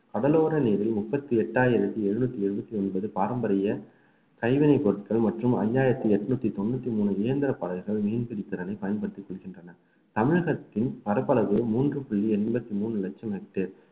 கடலோர நீரில் முப்பத்தி எட்டாயிரத்தி எழுநூத்தி எழுபத்தி ஒன்பது பாரம்பரிய கைவினை பொருட்கள் மற்றும் அஞ்சாயிரத்தி எட்நூத்தி தொண்ணூத்தி மூணு இயந்திர படகுகள் மீன்பிடி திறனை பயன்படுத்தி கொள்கின்றன தமிழகத்தின் பரப்பளவு மூன்று புள்ளி எண்பத்தி மூணு லட்சம் hectare